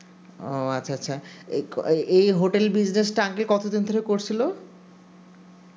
ও আচ্ছা আচ্ছা এই hotel business আগে কত দিন ধরে করছিল